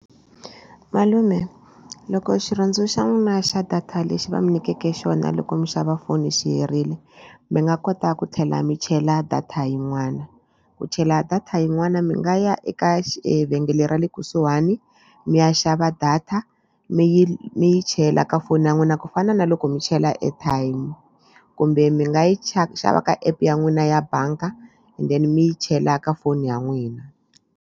Malume loko xirhundzu xa n'wina xa data lexi va mi nyikeke xona loko mi xava foni mi xi herile mi nga kota ku tlhela mi chela data yin'wana. Ku chela data yin'wana mi nga ya eka evhengele ra le kusuhani mi ya xava data mi yi mi yi chela ka foni ya n'wina ku fana na loko mi chela airtime kumbe mi nga yi xava xava ka app ya n'wina ya bangi and then mi yi chela ka foni ya n'wina.